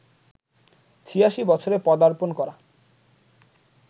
৮৬ বছরে পদার্পণ করা